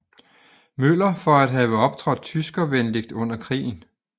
Møller for at have optrådt tyskervenligt under krigen